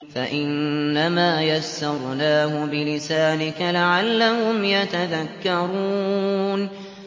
فَإِنَّمَا يَسَّرْنَاهُ بِلِسَانِكَ لَعَلَّهُمْ يَتَذَكَّرُونَ